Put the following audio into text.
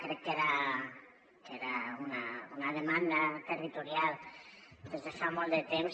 crec que era una demanda territorial des de fa molt de temps